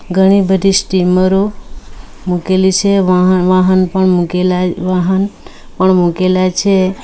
ઘણી બધી સ્ટીમરો મૂકેલી છે વાહન વહાણ પણ મુકેલા વાહણ પણ મૂકેલા છે.